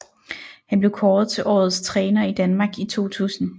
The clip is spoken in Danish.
Han blev kåret til Årets Træner i Danmark i 2000